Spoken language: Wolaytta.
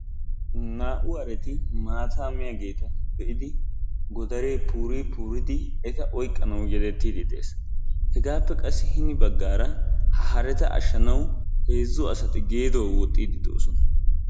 Naa"u haree maataa miyaageta be"idi godaree puurii puuridi eta oyqqanawu yedettiidi dees. hegaappe qassi hini baggaara ha haretta ashshanawu heezzu asati geedo wooxxidi doosona.